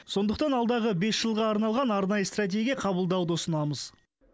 сондықтан алдағы бес жылға арналған арнайы стратегия қабылдауды ұсынамыз